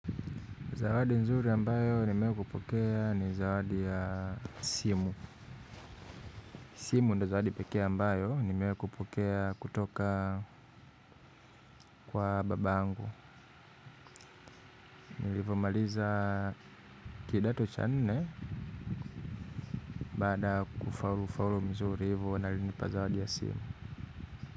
Zawadi nzuri ambayo nimewai kupokea ni zawadi ya simu. Simu ndo zawadi pekee ambayo nimewai kupokea kutoka kwa babangu. Nilivo maliza kidato cha nne baada kufaulu nzuri hivo na alinipa zawadi ya simu.